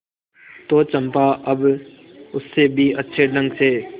तो चंपा अब उससे भी अच्छे ढंग से